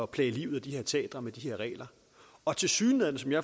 plage livet af de her teatre med den regel og tilsyneladende